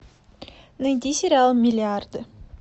найди сериал миллиарды